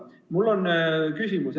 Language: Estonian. Mul on küsimus.